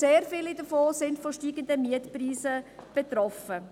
Sehr viele davon sind von steigenden Mietpreisen betroffen.